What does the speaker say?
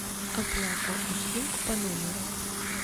оплата услуг по номеру